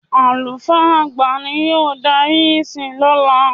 Àlùfáà àgbà ni yóò darí ìsìn lọ́la.